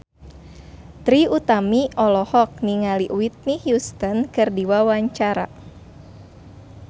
Trie Utami olohok ningali Whitney Houston keur diwawancara